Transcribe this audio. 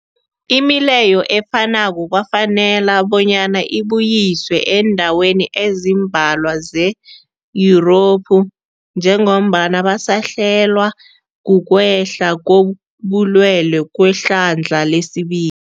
Imileyo efanako kwafanela bonyana ibuyiswe eendaweni ezimbalwa ze-Yurophu njengombana basahlelwa, kukwehla kobulwele kwehlandla lesibi